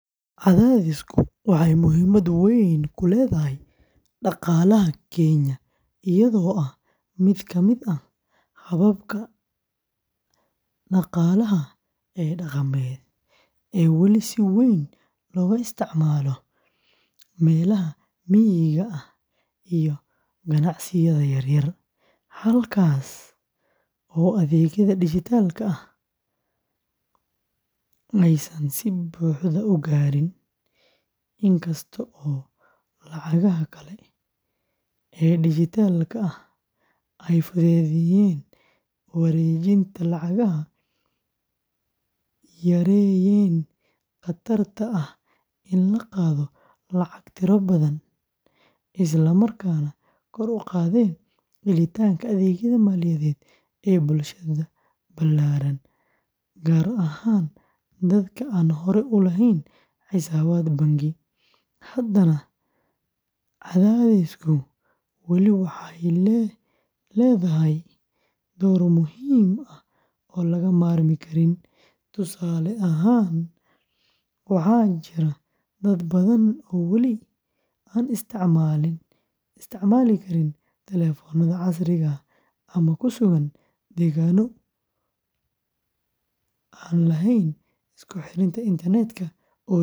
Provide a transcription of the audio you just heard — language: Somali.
Qadaadiicdu waxay muhiimad weyn ku leedahay dhaqaalaha Kenya iyadoo ah mid kamid ah hababka dhaqaalaha ee dhaqameed ee weli si weyn looga isticmaalo meelaha miyiga ah iyo ganacsiyada yaryar, halkaas oo adeegyada dijitaalka ah aysan si buuxda u gaarin. Inkasta oo iyo lacagaha kale ee dijitaalka ahi ay fududeeyeen wareejinta lacagaha, yareeyeen khatarta ah in la qaado lacago tiro badan, islamarkaana kor u qaadeen helitaanka adeegyada maaliyadeed ee bulshada ballaaran gaar ahaan dadka aan hore u lahayn xisaabaad bangi, haddana qadaadiicdu weli waxay leedahay door muhiim ah oo laga maarmi karin. Tusaale ahaan, waxaa jira dad badan oo wali aan isticmaali karin taleefannada casriga ah ama ku sugan deegaano aan lahayn isku xirnaanta internet-ka oo joogto ah.